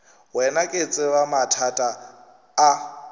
wena ke tseba mathata a